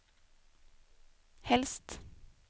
helst